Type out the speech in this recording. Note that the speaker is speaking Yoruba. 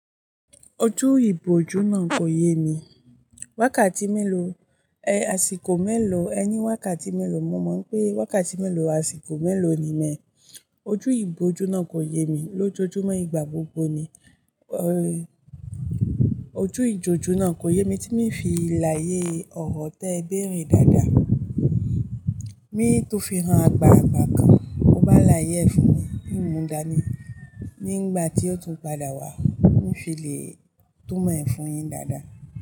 Ojú ìbòjú náà kò yé mi. Wákàtí mélòó, àsìkò mélòó, ẹ ní wákàtí mélòó, mo mọ̀ pé wákàtí mélòó, àsìkò mélòó ni mẹ́. Ojú ìbòjú náà kò yé mi lójoojúmọ́, ìgbà gbogbo ni, ojú ìjójú náà kò yé mi tí mi fi làyé ọ̀rọ̀ tó ẹ béèrè dáadáa. Mi tó fi rán àgbààgbà kan, ó bá làyé ẹ fún mi, mí ì múdaní, nígbà tí ó tún padà wá, mi fi le tún mọ ẹ̀ fún yin dáadáa.